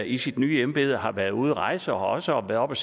i sit nye embede har været ude at rejse og også har været oppe